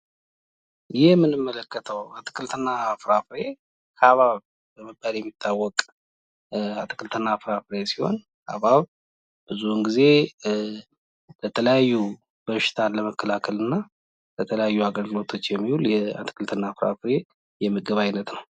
ይህ የምንመለከተው አትክልትና ፍራፍሬ ሀብሀብ በመባል የሚታወቅ አትክልትና ፍራፍሬ ሲሆን ሀብሀብ ብዙውን ጊዜ ለተለያዩ በሽታን ለመከላከል እና ለተለያዩ አገልግሎቶች የሚውል የአትክልትና ፍራፍሬ የምግብ አይነት ነው።